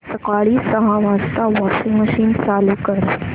सकाळी सहा वाजता वॉशिंग मशीन चालू कर